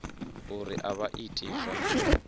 uri a vha iti zwa